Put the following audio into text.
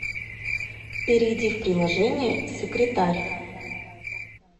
перейди в приложение секретарь